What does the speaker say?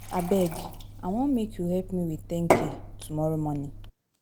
Abeg, I wan make you help me with 10k tomorrow morning.